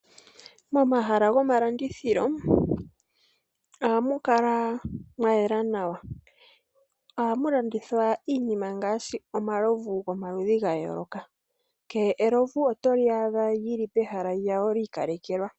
Momahala gomalandithilo, ohamu kala mwa yela nawa. Ohamu landithwa iinima ngaashi omalovu gomaludhi ga yooloka. Kehe elovu otoli adha lili pehala lyawo li ikalekelwa.